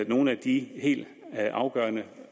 nogle af de helt afgørende